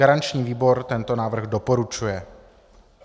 Garanční výbor tento návrh doporučuje.